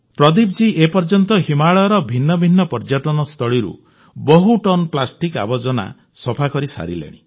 ପ୍ରଦୀପ ଜୀ ଏ ପର୍ଯ୍ୟନ୍ତ ହିମାଳୟର ଭିନ୍ନ ଭିନ୍ନ ପର୍ଯ୍ୟଟନସ୍ଥଳରୁ ବହୁ ଟନ୍ ପ୍ଲାଷ୍ଟିକ୍ ଆବର୍ଜନା ସଫା କରିସାରିଲେଣି